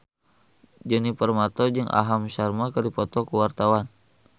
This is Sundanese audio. Djoni Permato jeung Aham Sharma keur dipoto ku wartawan